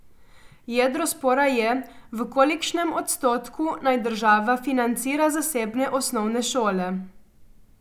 Jedro spora je, v kolikšnem odstotku naj država financira zasebne osnovne šole.